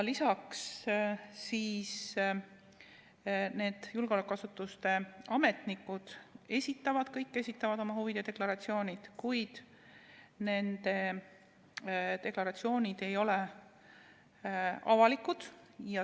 Lisaks on meil julgeolekuasutuste ametnikud, kes kõik esitavad oma huvide deklaratsioonid, kuid nende deklaratsioonid ei ole avalikud.